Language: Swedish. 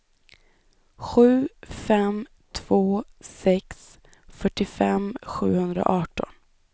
sju fem två sex fyrtiofem sjuhundraarton